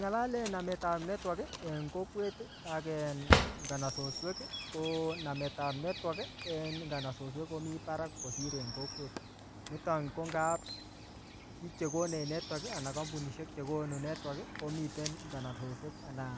Ngelalen namet ap network en kokwet ak en nganasoswek, ko namet ap network en nganasoswek komii barak kosir en kokwet. Niton ko ngap biik che konech network anan kampunishek che konu network komiten nganasoswek anan